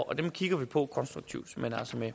dem kigger vi på konstruktivt men altså med